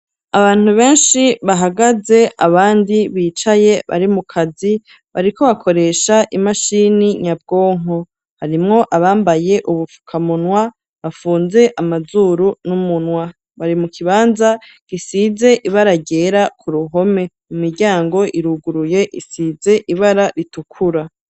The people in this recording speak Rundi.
Abantu benshi bahagaze abandi bicaye bari mukazi bariko bakoresha imashini nyabwonko harimwo abambaye ubufukamunwa bafunze amazuru n'umunwa bari mu kibanza gisize ibara ryera ku ruhome imiryango iruguruye isize ibara ritukura.